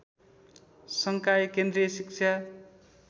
संकाय केन्द्रीय शिक्षा